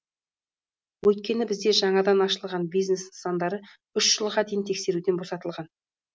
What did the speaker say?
өйткені бізде жаңадан ашылған бизнес нысандары үш жылға дейін тексеруден босатылған